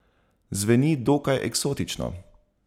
Zveni dokaj eksotično.